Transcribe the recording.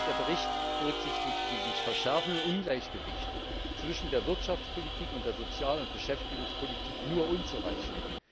Der Bericht berücksichtigt die sich verschärfenden Ungleichgewichte zwischen der Wirtschaftspolitik und der Sozial und Beschäftigungspolitik nur unzureichend.